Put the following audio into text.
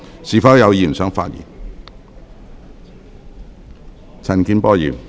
是否有議員想發言？